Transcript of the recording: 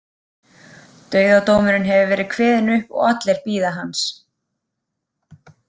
Dauðadómurinn hefur verið kveðinn upp og allir bíða hans.